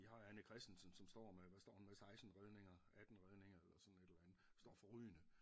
Vi har Anne Kristensen som står med hvad står hun med 16 redninger 18 redninger eller sådan et eller andet hun står forrygende